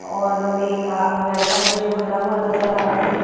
और हमें एक आ लड़का है जो खड़ा हुआ नजर आ रहा है।